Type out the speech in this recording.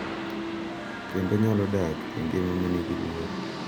Kendo nyalo dak e ngima ma nigi luor.